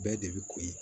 Bɛɛ de bɛ koyi